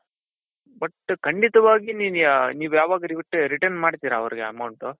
but ಖಂಡಿತವಾಗಿ ನೀವ್ ಯಾವಾಗ return ಮಾಡ್ತಿರ ಅವರಿಗೆ amountಟು.